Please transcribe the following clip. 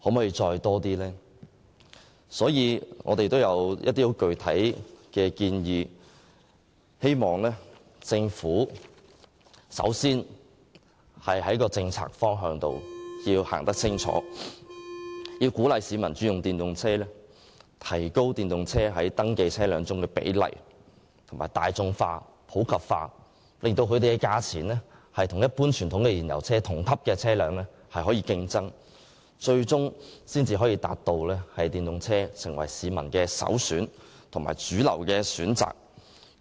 有見及此，我們提出了一些具體建議，希望政府首先訂定清晰的政策方向，鼓勵市民改用電動車，藉此提高電動車在登記車輛中所佔的比例，使電動車大眾化及普及化，讓電動車的售價可以與同級的一般傳統燃油車競爭，這樣最終才可以達到將電動車成為市民首選及主流選擇。